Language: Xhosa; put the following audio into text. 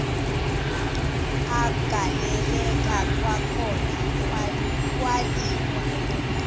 agaleleka kwakhona kwaliwa